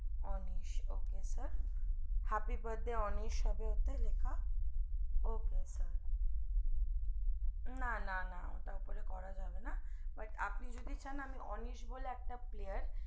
Anis ok sir happy birthday আপনি বললে আনিস হবে ওতে লেখা ok না না না ওটা উপরে করা যাবে না but আপনি যদি চান আমি ওতে আনিস বলে একটা player